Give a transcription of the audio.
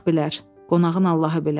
Qonağın Allahı bilər.